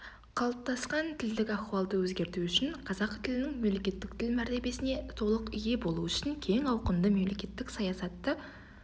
қалыптасқан тілдік ахуалды өзгерту үшін қазақ тілінің мемлекеттік тіл мәртебесіне толық ие болуы үшін кең ауқымды мемлекеттік саясатты